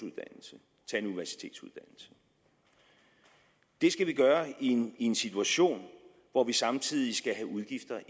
til at en universitetsuddannelse det skal vi gøre i en en situation hvor vi samtidig skal have udgifter